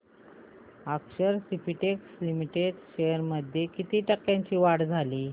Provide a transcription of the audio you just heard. अक्षर Spintex Limited shares मध्ये किती टक्क्यांची वाढ झाली